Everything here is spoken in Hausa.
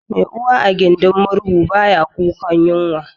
Mai uwa a gindin murhu baya kukan yunwa